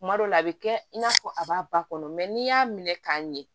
Kuma dɔ la a bɛ kɛ i n'a fɔ a b'a ba kɔnɔ n'i y'a minɛ k'a ɲɛ